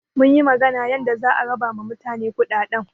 Munyi magana yanda za a raba ma mutane kuɗaɗɗen.